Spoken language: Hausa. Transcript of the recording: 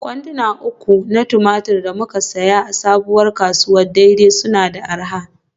Kwanduna uku na tumatir da muka sayi Sabuwar kasuwar Dei-Dei suna da arha.